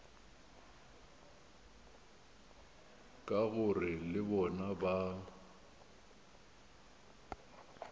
ka gore le bona ba